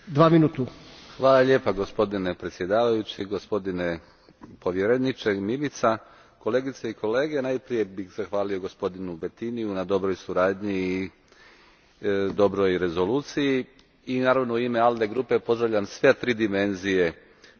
Gospodine predsjedniče, gospodine povjereniče Mimica, kolegice i kolege najprije bih zahvalio gospodinu Bettiniju na dobroj suradnji i dobroj rezoluciji. I naravno u ime ALDE grupe pozdravljam sve tri dimenzije promjene ove Uredbe.